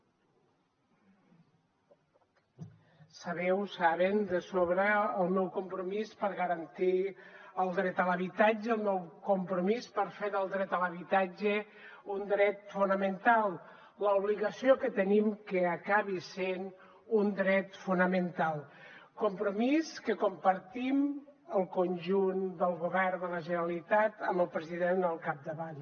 sabeu saben de sobra el meu compromís per garantir el dret a l’habitatge el meu compromís per fer del dret a l’habitatge un dret fonamental l’obligació que tenim que acabi sent un dret fonamental compromís que compartim el conjunt del govern de la generalitat amb el president al capdavant